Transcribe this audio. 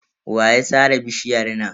Wa ya sare bishiyar nan?